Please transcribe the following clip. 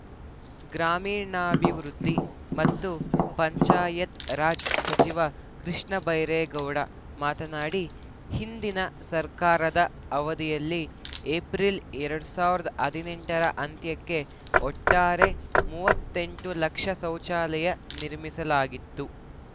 ಗ್ರಾಮೀಣಾಭಿವೃದ್ಧಿ ಮತ್ತು ಪಂಚಾಯತ್‌ರಾಜ್‌ ಸಚಿವ ಕೃಷ್ಣ ಬೈರೇಗೌಡ ಮಾತನಾಡಿ ಹಿಂದಿನ ಸರ್ಕಾರದ ಅವಧಿಯಲ್ಲಿ ಏಪ್ರಿಲ್‌ ಎರಡ್ ಸಾವಿರದ ಹದಿನೆಂಟರ ಅಂತ್ಯಕ್ಕೆ ಒಟ್ಟಾರೆ ಮೂವತ್ತೆಂಟು ಲಕ್ಷ ಶೌಚಾಲಯ ನಿರ್ಮಿಸಲಾಗಿತ್ತು